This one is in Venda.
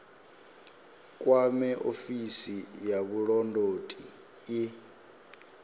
kwame ofisi ya vhulondoti i